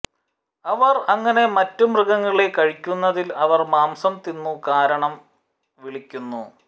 അവർ അങ്ങനെ മറ്റ് മൃഗങ്ങളെ കഴിക്കുന്നതിൽ അവർ മാംസം തിന്നു കാരണം വിളിക്കുന്നു